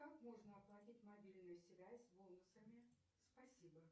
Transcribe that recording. как можно оплатить мобильную связь бонусами спасибо